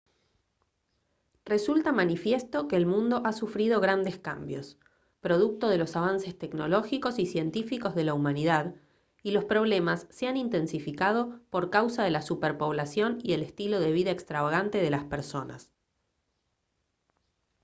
resulta manifiesto que el mundo ha sufrido grandes cambios producto de los avances tecnológicos y científicos de la humanidad y los problemas se han intensificado por causa de la superpoblación y el estilo de vida extravagante de las personas